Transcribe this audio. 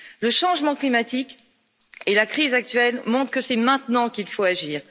Le changement climatique et la crise actuelle montrent que c'est maintenant qu'il faut agir.